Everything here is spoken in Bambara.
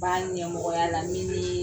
N b'a ɲɛmɔgɔya la miin